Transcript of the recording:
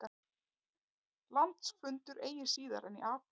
Landsfundur eigi síðar en í apríl